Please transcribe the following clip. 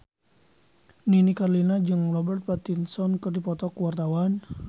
Nini Carlina jeung Robert Pattinson keur dipoto ku wartawan